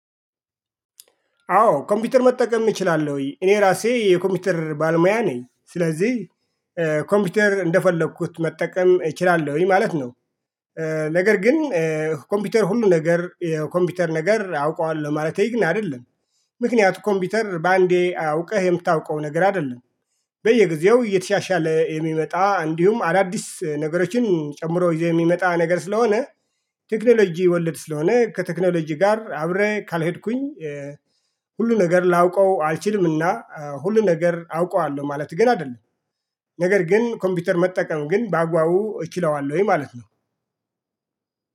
አዎ ኮምፒውተር መጠቀም እችላለሁይ እኔ ራሴ የኮምፒውተር ባልሙያ ነኝ ስለዚህ ኮምፒውተር እንደፈለኩት መጠቀም እችላለሁኝ ማለት ነው። ነገር ግን ኮምፒውተር ሁሉ ነገር ኮምፒውተር ነገር አውቀዋለሁ ማለቴ ግን አይደለም። ምክንያቱም ኮምፒውተር በአንዴ አውቀህ የምታውቀው ነገር አይደለም። በየጊዜው እየተሻሻለ የሚመጣ እንዲሁም አዳዲስ ነገሮችን ጨምሮ የሚመጣ ነገር ስለሆነ ቴክኖሎጂ ወለድ ስለሆነ ከቴክኖሎጂ ጋር አብሬ ካልሄድኩኝ። ሁሉ ነገር ላውቀው አልችልምና ሁሉ ነገር አውቀዋለሁ ማለት ግን አይደለም። ነገር ግን ኮምፒውተር መጠቀም ግን በአግባቡ እችለዋለሁ ወይ ማለት ነው?